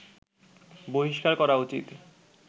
বহিষ্কার করা উচিত